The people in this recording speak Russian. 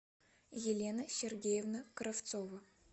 елена сергеевна кравцова